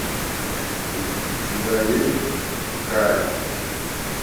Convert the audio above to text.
у тебя есть каин